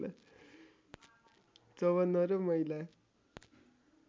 ५४ र महिला